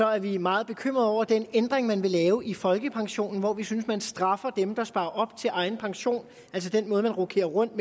er vi meget bekymrede over den ændring man vil lave i folkepensionen hvor vi synes at man straffer dem der sparer op til egen pension altså den måde man rokerer rundt